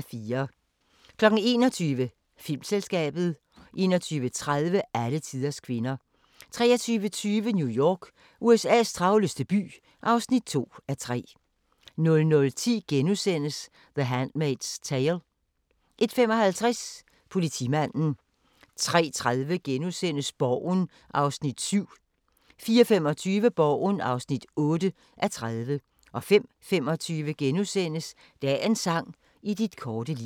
21:00: Filmselskabet 21:30: Alletiders kvinder 23:20: New York – USA's travleste by (2:3) 00:10: The Handmaid's Tale * 01:55: Politimanden 03:30: Borgen (7:30)* 04:25: Borgen (8:30) 05:25: Dagens sang: I dit korte liv *